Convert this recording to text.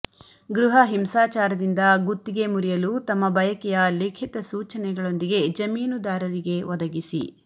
ಗೃಹ ಹಿಂಸಾಚಾರದಿಂದ ಗುತ್ತಿಗೆ ಮುರಿಯಲು ತಮ್ಮ ಬಯಕೆಯ ಲಿಖಿತ ಸೂಚನೆಗಳೊಂದಿಗೆ ಜಮೀನುದಾರರಿಗೆ ಒದಗಿಸಿ